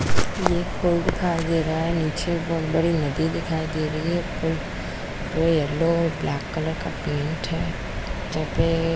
ये कोई पुल दिखाई दे रहा है नीचे बहुत बड़ी नदी दिखाई दे रही है पुल येलो ब्लैक कलर का पेंट है यहाँ पे --